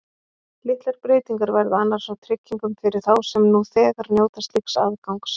Litlar breytingar verða annars á tryggingum fyrir þá sem nú þegar njóta slíks aðgangs.